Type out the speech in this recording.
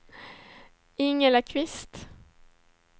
Ingela Kvist